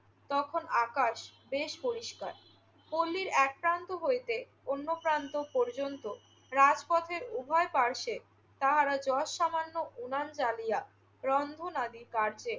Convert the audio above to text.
তখন আকাশ বেশ পরিস্কার। পল্লীর একপ্রান্ত হইতে অন্যপ্রান্ত পর্যন্ত রাজপথের উভয় পার্শ্বে তাহারা যৎসামান্য উনান জ্বালিয়া রন্ধনাদি কার্যে